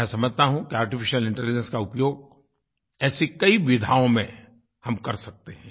मैं समझता हूँ कि आर्टिफिशियल इंटेलिजेंस का उपयोग ऐसी कई विधाओं में हम कर सकते हैं